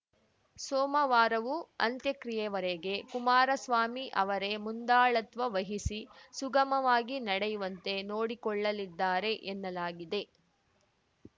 ಸೋಮವಾರವೂ ಅಂತ್ಯಕ್ರಿಯೆವರೆಗೆ ಕುಮಾರಸ್ವಾಮಿ ಅವರೇ ಮುಂದಾಳತ್ವ ವಹಿಸಿ ಸುಗಮವಾಗಿ ನಡೆಯುವಂತೆ ನೋಡಿಕೊಳ್ಳಲಿದ್ದಾರೆ ಎನ್ನಲಾಗಿದೆ